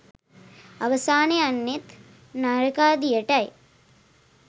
අවසන යන්නෙත් නරකාදියටයි.